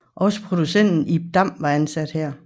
Også produceren Ib Dam var ansat her